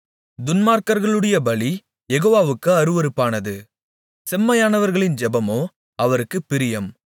துன்மார்க்கர்களுடைய பலி யெகோவாவுக்கு அருவருப்பானது செம்மையானவர்களின் ஜெபமோ அவருக்குப் பிரியம்